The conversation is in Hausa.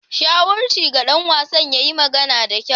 Shawarchi ga dan wasan ya yi magana da kyau.